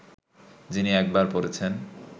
যিনি একবার পড়েছেন